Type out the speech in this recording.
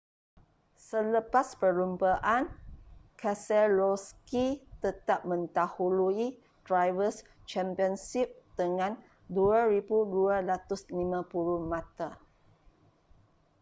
selepas perlumbaan keselowski tetap mendahului drivers' championship dengan 2,250 mata